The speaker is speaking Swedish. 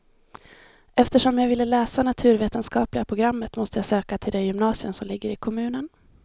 Eftersom jag ville läsa naturvetenskapliga programmet måste jag söka till det gymnasium som ligger i kommunen.